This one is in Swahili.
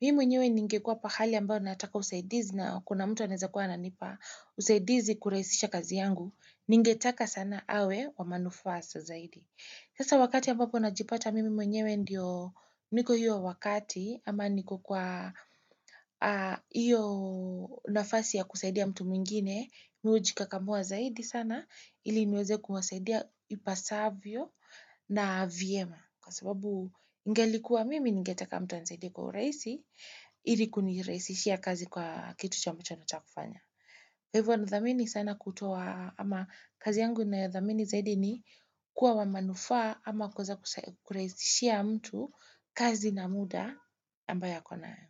Mimi mwenyewe ninge kuwa pahali ambapo nataka usaidizi na kuna mtu anaweza kwa ananipa usaidizi kurahisisha kazi yangu, ninge taka sana awe wa manufaa sa zaidi. Sasa wakati ambapo najipata mimi mwenyewe ndiyo niko hiyo wakati ama niko kwa hiyo nafasi ya kusaidia mtu mwingine mimi hujikakamua zaidi sana ili niweze kuwasaidia ipasavyo na vyema. Kwa sababu ingelikuwa mimi ningetaka mtu anisaide kwa urahisi ili kunirahisishia kazi kwa kitu cha machono chakufanya. Hivo nathamini sana kutoa ama kazi yangu nayothamini zaidi ni kuwa wamanufaa ama kuweza kurahizishia mtu kazi na muda ambayo akonayo.